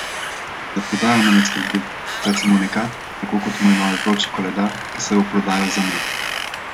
Za prodajo me ne skrbi, saj sem unikat, tako kot moj novi vroči koledar, ki se bo prodajal za med!